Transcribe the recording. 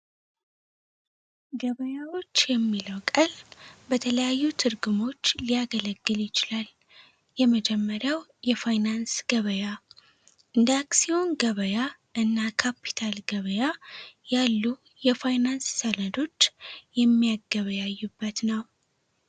ገበያዎች የሚለው ቃል በተለያዩ ትርጉሞች ሊያገለግል ይችላል። የመጀመሪያው የፋይናንስ ገበያ፤ እንደ አክሲዮን ገበያ እና ካፒታል ገበያ ያሉ የፋይናንስ ሰነዶች የሚያገበያዩበት ነው።